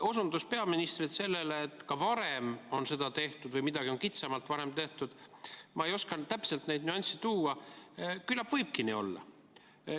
osundus peaministrilt sellele, et ka varem on seda tehtud või midagi on kitsamalt varem tehtud – ma ei oska täpselt neid nüansse tuua, küllap võibki nii olla.